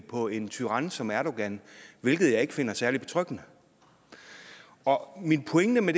på en tyran som erdogan hvilket jeg ikke finder særlig betryggende min pointe med